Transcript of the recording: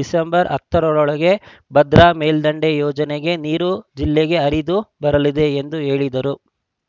December ಹತ್ತರೊಳಗೆ ಭದ್ರಾ ಮೇಲ್ದಂಡೆ ಯೋಜನೆ ನೀರು ಜಿಲ್ಲೆಗೆ ಹರಿದು ಬರಲಿದೆ ಎಂದು ಹೇಳಿದರು